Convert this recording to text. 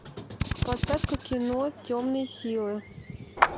поставь ка кино темные силы